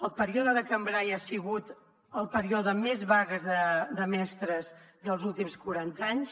el període de cambray ha sigut el període amb més vagues de mestres dels últims quaranta anys